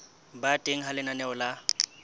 ba teng ha lenaneo la